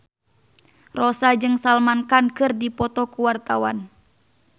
Rossa jeung Salman Khan keur dipoto ku wartawan